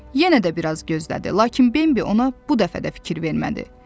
Yenə də bir az gözlədi, lakin Bambi ona bu dəfə də fikir vermədi.